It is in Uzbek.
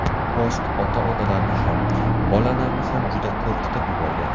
Post ota-onalarni ham, bolalarni ham juda qo‘rqitib yuborgan.